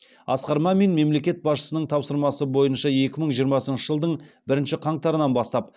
асқар мамин мемлекет басшысының тапсырмасы бойынша екі мың жиырмасыншы жылдың бірінші қаңтарынан бастап